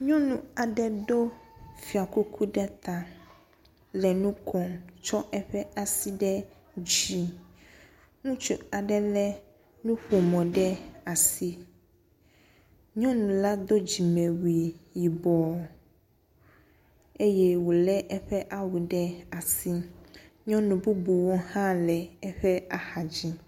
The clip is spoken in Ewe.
Nyɔnu aɖe do fiakuku ɖe ta le nu kom tsɔ eƒe asi ɖe dzi. Ŋutsu aɖe lé nuƒomɔ ɖe asi. Nyɔnu la do dzimewui yibɔ eye wòlé eƒe awu ɖe asi. Nyɔnu bubuwo hã le eƒe axa dzi.